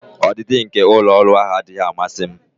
Ọdịdị nke ụlọ ọrụ ahụ anaghị amasị m.